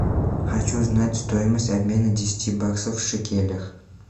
хочу знать стоимость обмена десяти баксов в шекелях